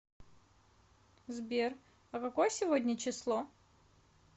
сбер а какое сегодня число